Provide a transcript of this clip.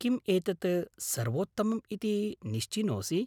किम् एतत् सर्वोत्तमम् इति निश्चिनोऽसि?